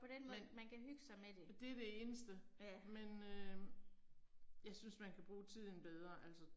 Men. Det det eneste. Men øh. Jeg synes man kan bruge tiden bedre altså